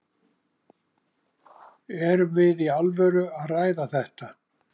Erum við í alvöru að ræða þetta?